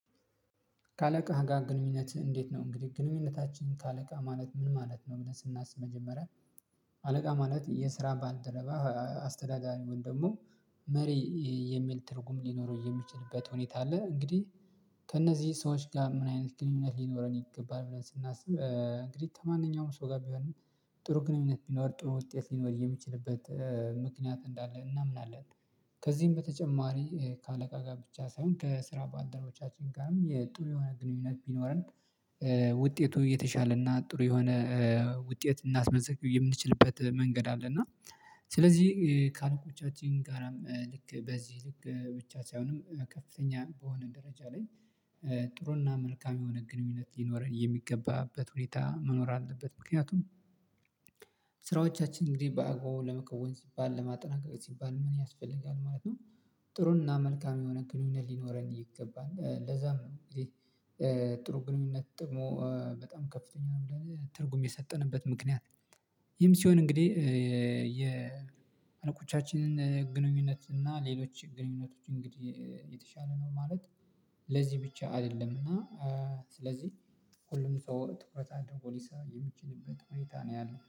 ከአለቃ ጋር ግንኙነት እንዴት ነው? እንግዲህ ግንኙነታችን ከአለቃ ማለት ምን ማለት ነው ብለን ስናስብ መጀመሪያ አለቃ ማለት የስራ ባልደረባ አስተዳዳሪ ወይም ደግሞ መሪ የሚል ትርጉም ሊኖረው የሚችልበት ሁኔታ አለ። እንግዲህ ከእነዚህ ሰዎች ጋር ምን አይነት ግንኙነት ሊኖረን ይገባል ብለን ስናስብ እንግዲህ ከማንኛውም ሰው ጋር ቢሆንም ጥሩ ግንኙነት ቢኖር ጥሩ ውጤት ሊኖር የሚችልበት ምክንያት እንዳለ እናምናለን። ከዚህም በተጨማሪ ከአለቃ ጋር ብቻ ሳይሆን ከስራ ባልደረቦቻችን ጋርም የጥሩ የሆነ ግንኙነት ቢኖረን ውጤቱ የተሻለ እና ጥሩ የሆነ ውጤት ልናስመዘግብ የምንችልበት መንገድ አለ። እና ስለዚህ ከአለቆቻችን ጋራም ልክ በዚህ ልክ ብቻ ሳይሆንም ከፍተኛ በሆነ ደረጃ ላይ ጥሩና መልካም የሆነ ግንኙነት ሊኖረን የሚገባበት ሁኔታ መኖር አለበት። ምክንያቱም ስራዎቻችን እንግዲህ በአግባቡ ለመከወን ሲባል ለማጠናቀቅ ሲባል ምን ያስፈልጋል ማለት ነው? ጥሩንና መልካም የሆነ ግንኙነት ሊኖረን ይገባል ለዛም ነው። ጥሩ ግንኙነት ጥቅሙ በጣም ከፍተኛ ነው ብለን ትርጉም የሰጠንበት ምክንያት። ይም ሲሆን እንግዲህ የአለቆቻችንን ግንኙነት እና ሌሎች ግንኙነቶችን እንግዲህ የተሻለ ነው ማለት። ለዚህ ብቻ አይደለምና ስለዚህ ሁሉም ሰው ትኩረት አድርጎ ሊሰራ የሚችልበት ሁኔታ ነው ያለው